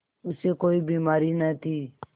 उसे कोई बीमारी न थी